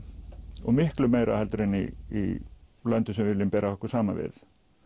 og miklu meira en í löndum sem við viljum bera okkur saman við